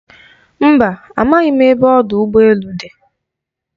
Mba, amaghị m ebe ọdụ ụgbọ elu dị.